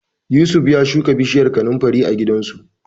Yusuf ya shuka bishiyar kanunfari a gidansu.